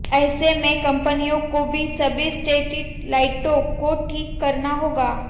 ऐसे में कंपनियों को सभी स्ट्रीट लाइटों को ठीक करना होगा